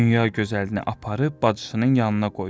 Dünya gözəlini aparıb bacısının yanına qoydu.